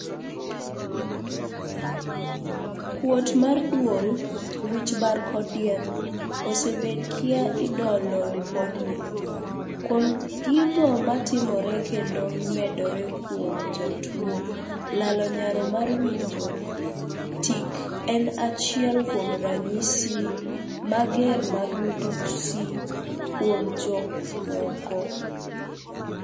Kuot mar duol, wich bar kod diep, osebed kia idolo lipodgi, kuom gigo matimore kendo medore kuom jatuo lalo nyalo mar winjo tik en achiel kuom ranyisi mager mar midhusi kuom jok moko